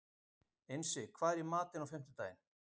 Einsi, hvað er í matinn á fimmtudaginn?